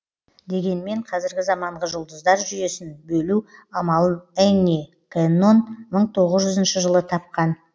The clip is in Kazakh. дегенмен қазіргі заманғы жұлдыздар жүйесін бөлу амалын энни кэннон мың тоғызыншы жылы тапқан